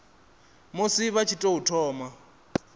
musi vha tshi tou thoma